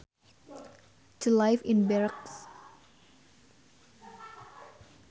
To live in barracks